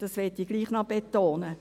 Das will ich trotzdem noch betonen.